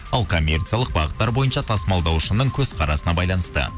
ал коммерциялық бағыттар бойынша тасымалдаушының көзқарасына байланысты